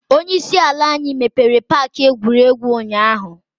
Onye isi ala anyi mepere paaki egwuregwu ụnyaahụ.